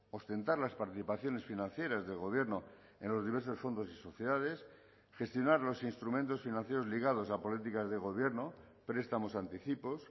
ostentar las participaciones financieras del gobierno en los diversos fondos y sociedades gestionar los instrumentos financieros ligados a políticas de gobierno prestamos anticipos